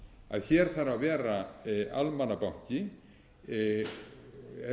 að hér þarf að vera almannabanki það eru